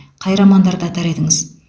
қай романдарды атар едіңіз